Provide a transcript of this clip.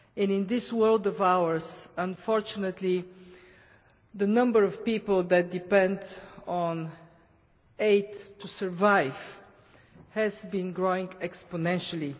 In this world of ours, unfortunately, the number of people that depend on aid to survive has been growing exponentially.